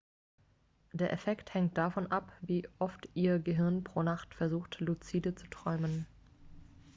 der effekt hängt davon ab wie oft ihr gehirn pro nacht versucht luzide zu träumen